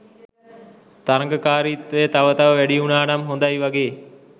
තරඟකාරීත්වය තව තව වැඩිවුනානම් හොඳයි වගේ